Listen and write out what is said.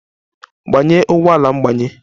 Gbanye ụgbọ ala mgbanye!